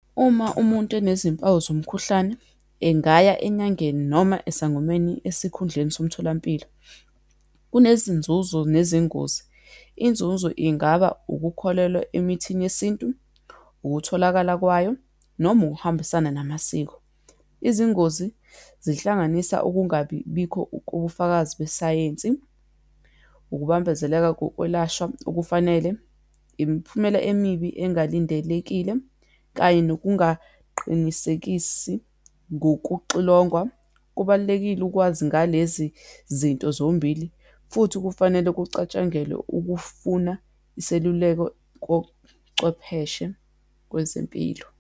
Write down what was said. Uma umuntu enezimpawu zomkhuhlane, engaya enyangeni, noma esangomeni esikhundleni somtholampilo. Kunezinzuzo nezingozi, inzuzo ingaba ukukholelwa emithini yesintu, ukutholakala kwayo, noma ukuhambisana namasiko. Izingozi, zihlanganisa ukungabibikho kobufakazi besayensi, ukubambezeleka kokwelashwa okufanele, imiphumela emibi engalindelekile, kanye nokungaqinisekisi ngokuxilongwa. Kubalulekile ukwazi ngalezi zinto zombili, futhi kufanele kucatshangelwa ukufuna iseluleko kocwepheshe kwezempilo.